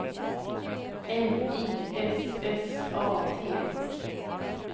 M I S S A T